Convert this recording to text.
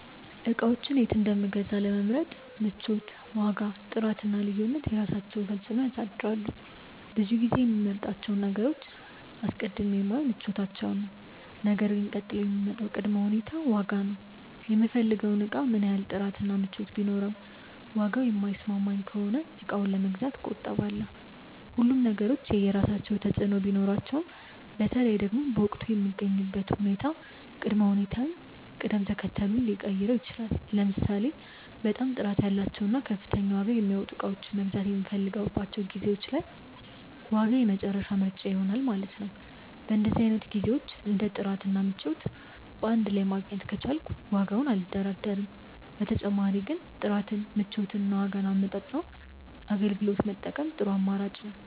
እቃዎችን የት እንደምገዛ ለመምረጥ ምቾት፣ ዋጋ፣ ጥራት እና ልዩነት የራሳቸውን ተፅዕኖ ያሳድራሉ። ብዙ ጊዜ የምመርጣቸውን ነገሮች አስቀድሜ የማየው ምቾታቸውን ነው ነገር ግን ቀጥሎ የሚመጣው ቅድመ ሁኔታ ዋጋ ነው። የምፈልገው እቃ ምንም ያህል ጥራት እና ምቾት ቢኖረውም ዋጋው የማይስማማኝ ከሆነ እቃውን ከመግዛት እቆጠባለሁ። ሁሉም ነገሮች የየራሳቸው ተፅእኖ ቢኖራቸውም በተለይ ደግሞ በወቅቱ የምገኝበት ሁኔታ ቅድመ ሁኔታዬን ቅደም ተከተሉን ሊቀያይረው ይችላል። ለምሳሌ በጣም ጥራት ያላቸውን እና ከፍተኛ ዋጋ የሚያስወጡ እቃዎችን መግዛት የምፈልግባቸው ጊዜዎች ላይ ዋጋ የመጨረሻ ምርጫዬ ይሆናል ማለት ነው። በእንደዚህ አይነት ጊዜዎች ላይ ጥራት እና ምቾት እንድ ላይ ማግኘት ከቻልኩ በዋጋው አልደራደርም። በተጨማሪ ግን ጥራትን፣ ምቾትን እና ዋጋን አመጣጥኖ አገልግሎት መጠቀም ጥሩ አማራጭ ነው።